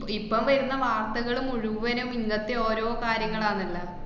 ഇപ്പം വരുന്ന വാര്‍ത്തകള് മുഴുവനും ഇങ്ങനത്തെ ഓരോ കാര്യങ്ങളാന്നല്ലാ.